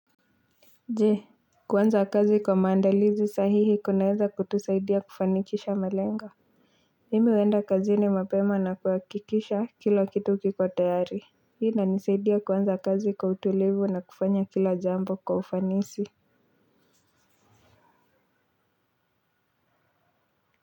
Je, kuanza kazi kwa maandalizi sahihi kunaweza kutusaidia kufanikisha malengo. Mimi huenda kazini mapema na kuhakikisha kila kitu kiko tayari. Hii inanisaidia kuanza kazi kwa utulivu na kufanya kila jambo kwa ufanisi.